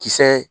Kisɛ